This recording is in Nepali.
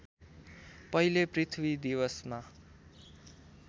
पहिले पृथ्वी दिवसमा